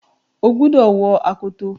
Ó gbúdọ̀ wọ akoto!